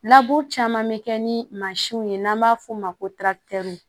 caman bɛ kɛ ni mansin ye n'an b'a f'o ma ko